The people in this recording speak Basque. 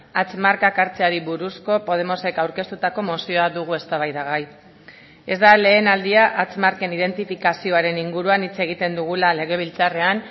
hatz markak hartzeari buruzko podemosek aurkeztutako mozioa dugu eztabaidagai ez da lehen aldia hatz marken identifikazioaren inguruan hitz egiten dugula legebiltzarrean